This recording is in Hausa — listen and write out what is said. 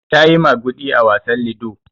Ta yi maguɗi a wasan lido.